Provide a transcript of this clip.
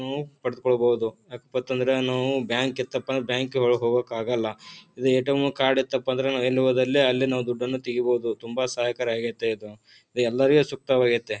ನಾವು ಪಡೆದುಕೊಳ್ಳಬಹುದು ಯಾಕಪ್ಪ ಅಂತಂದ್ರ ನಾವು ಬ್ಯಾಂಕ್ ಇತ್ತಪ್ಪ ಬ್ಯಾಂಕ್ ಒಳಗ ಹೋಗಕ್ಕಾಗಲ್ಲಾ ಇದು ಎಟಿಎಂ ಕಾರ್ಡ್ ಇತ್ತಪ್ಪ ಅಂದ್ರೆ ನಾವ್ ಎಲ್ಲಿ ಹೋದಲ್ಲಿ ಅಲ್ಲಿ ನಾವು ದುಡ್ಡನ್ನು ತಗಿಬಹುದು. ತುಂಬಾ ಸಹಾಯಕರ ಆಗೈತೆ ಇದು. ರಿ ಎಲ್ಲರ್ಗೆ ಸೂಕ್ತವಾಗೈತೆ.